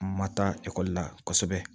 Ma taa ekɔli la kosɛbɛ